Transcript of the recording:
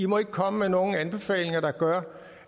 må komme med nogle anbefalinger der gør